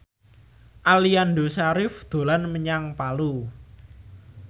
Aliando Syarif dolan menyang Palu